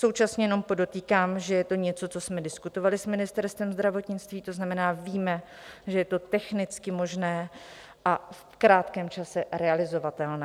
Současně jenom podotýkám, že je to něco, co jsme diskutovali s Ministerstvem zdravotnictví, to znamená, víme, že je to technicky možné a v krátkém čase realizovatelné.